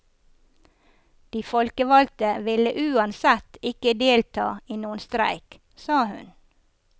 De folkevalgte ville uansett ikke delta i noen streik, sa hun.